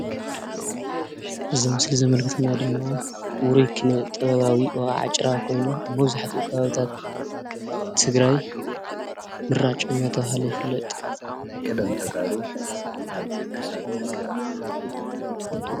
እዚ ምስል ዘመልክተና ድማ ውሩይ ክነ-ጥበባዊ ወቃዒ ጭራ ኮይኑ፣ ኣብ መብዛሕቱኡ ከባቢታት ትግራይ ምራጭ እናተባሃለ ይፍለጥ ።